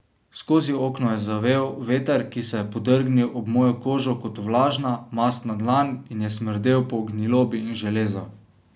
Skozi okno je zavel veter, ki se je podrgnil ob mojo kožo kot vlažna, mastna dlan in je smrdel po gnilobi in železu.